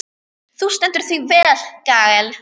Þú stendur þig vel, Gael!